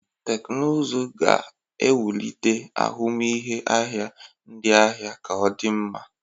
Teknụzụ ga-ewulite ahụmịhe ahịa ndị ahịa ka o di nma.